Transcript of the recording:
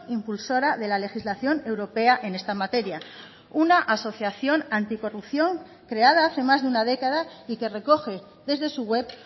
impulsora de la legislación europea en esta materia una asociación anticorrupción creada hace más de una década y que recoge desde su web